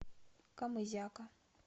камызяка